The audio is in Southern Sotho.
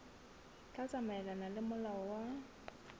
tla tsamaelana le molao wa